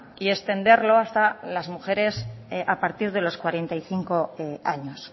y extenderlo hasta las mujeres a partir de los cuarenta y cinco años